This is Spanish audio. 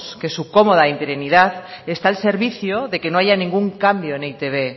que su cómoda interinidad está al servicio de que no haya ningún cambio en e i te be